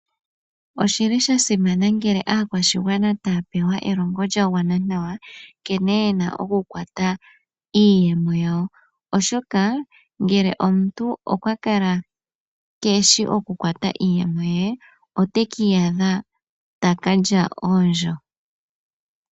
Oshili shasimana ngele aakwashigwana taya pewa elongo lyagwana nawa nkene yena oku kwata iiyemo yawo, oshoka ngele omuntu okwa kala keeshi oku kwata iiyemo ye, ote kiiyasha taka lya oondjo.